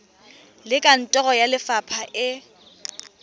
le kantoro ya lefapha e